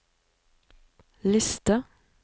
liste